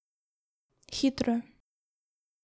Hitro.